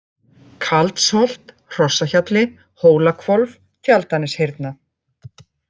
Kaldsholt, Hrossahjalli, Hólahvolf, Tjaldaneshyrna